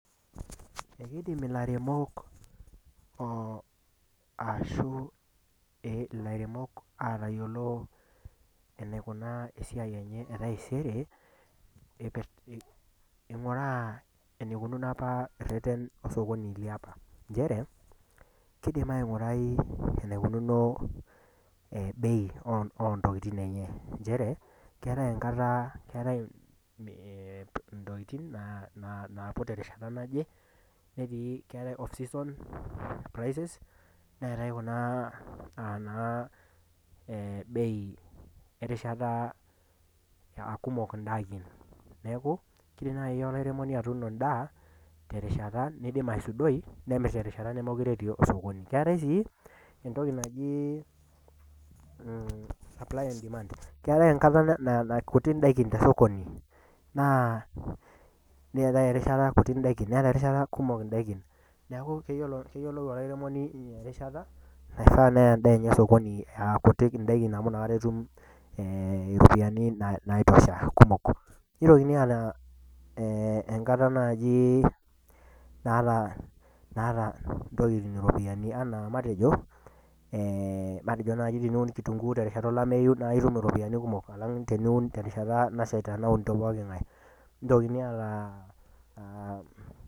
Ekeidim ilairemok ataayiolou eneikunaa eisiai enye e taisere, eing'uraa eneikununo ireten le sokoni le opa. Nchere, keidim aing'urai eneikununo bei oo ntokitin enye nchere, keatai intokitin naaiput te erishata naje, keatai off season prices, neatai kunaa naa e bei erishata aa kumok indaikin. Neaku, keidim naaji olairemoni atuuno endaa, terishata naidim aisudoi nemir te erishata nemekure etii sokoni. Keatai sii entoki naji supplyingdemand, keatai enkata naa kutik indaikin te sokoni, neatai erishata kuti indaikin, neatai erishata kumok indaikin. Neaku keyiolou olairemoni erishata naifaa neyaa endaa enye sokoni amu kuti endaikin amu ina rishata etum iropiani naitosha kumok. Neitokini aataa naaji erishata naaji naata intokitin iropiani, anaa matejo, teniun naaji kitung'uu erishata olameyu naa itum iropiani kumok alang' teniun terishata nashaita naunito pooking'ai. Neaitokin aatai.